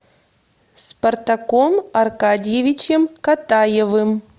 спартаком аркадьевичем катаевым